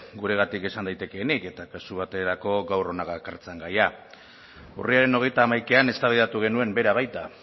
guregatik esan daitekeenik eta kasu baterako gaur hona gakartzan gaia urriaren hogeita hamaikan eztabaidatu genuen bera baita